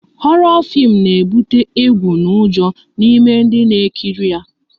Horo fim na ebute egwu n'ujo n'ime dị na-ekiri ya